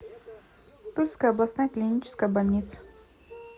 тульская областная клиническая больница